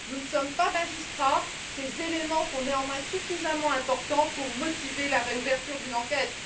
nous ne sommes pas magistrats sont néanmoins suffisamment importants pour motiver la réouverture d'une enquête.